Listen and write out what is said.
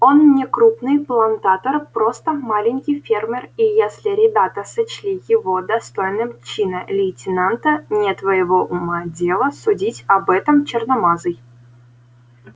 он не крупный плантатор просто маленький фермер и если ребята сочли его достойным чина лейтенанта не твоего ума дело судить об этом черномазый